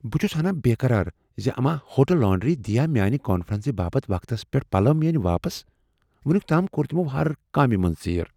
بہٕ چُھس ہناہ بیٚقرار زِ اما ہوٹل لانڈری دِیا میانہِ كانفرنسہِ باپت وقتس پیٹھ پلَو واپس۔ وُنِیُك تام كور تِمو ہر کامہ منز ژیر ۔